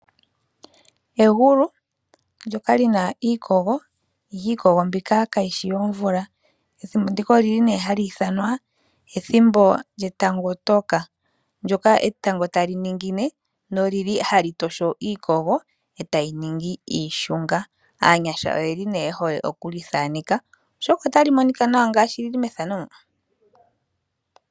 Egulu ndyoka lina iikogo ihe iikogo mbyoka kayishi yo mvula. Ethimbo ndika olili ne ha liithanwa ethimbo lyetango toka mono etango hali ningeni lyo olili tali tosho iikogo etayi ningi iishunga. Aanyasha oyeli yehole okuli thaneka oshoka olili tali monika nawa ngashi tali monika methano mo.